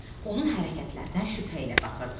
Onun hərəkətlərinə şübhə ilə baxırdı.